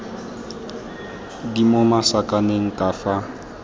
di mo masakaneng ka fa